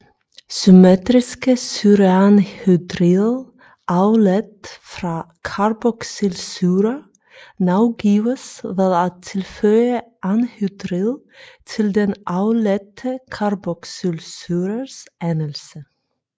Symmetriske syreanhydrider afledt fra carboxylsyrer navgives ved at tilføje anhydrid til den afledte carboxylsyrers endelse